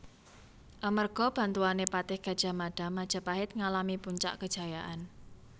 Amerga bantuané Patih Gadjah Mada Majapahit ngalami puncak kejayaan